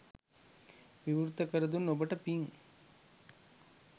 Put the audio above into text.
විවෘත කරදුන් ඔබට පින්